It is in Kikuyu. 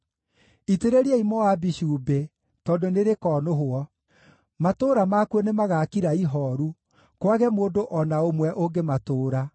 Itĩrĩriai Moabi cumbĩ, tondũ nĩrĩkonũhwo; matũũra makuo nĩmagakira ihooru, kwage mũndũ o na ũmwe ũngĩmatũũra.